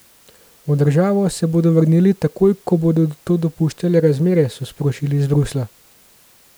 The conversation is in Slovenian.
V državo se bodo vrnili, takoj ko bodo to dopuščale razmere, so sporočili iz Bruslja.